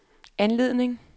anledning